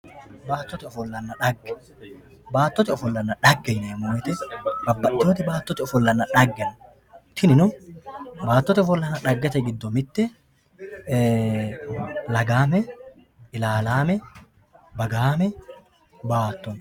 baattote ofollanna xagge baattote ofollanna xagge yineemmo wote babbaxitinoti baattote ofollanna xagge no tinino baattote ofollanna xaggete giddo mitt e lagaamme ilaalaame bagaame baatto no.